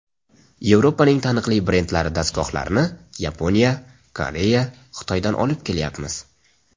Yevropaning taniqli brendlari dastgohlarini Yaponiya, Koreya, Xitoydan olib kelyapmiz.